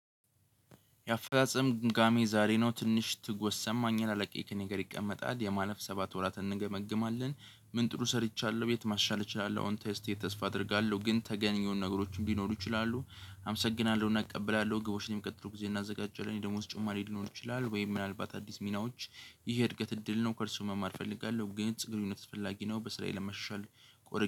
የአፈጻጸም ግምጋሜ ዛሬ ነው ትንሽ ትጎሰም አኝላለቂክ ነገር ይቀመጣል የማለፍ ሰባት ወራት እንገመግማለን ምን ጥሩ ሰርቻለሁ ቤት ማሻል እችላለሁ አሁን ተስቴ ተስፋ አደርጋለሁ ግን ተገኘውን ነገሮች ቢኖሩ ይችላሉ አመሰግናለሁና እቀበላለሁ ግቦችን የሚቀጥሉ ጊዜ እናዘጋጃለን የደሞዝ ጭማሪ ሊኖሩ ይችላሉ ወይ ምናልባት አዲስ ሚናዎች ይሄ እድገት እድል ነው። ከእርሱ መማር እፈልጋለሁ ግን ግንኙነት ፈላጊ ነው በስራዬ ለመሻሻል ቆርጬ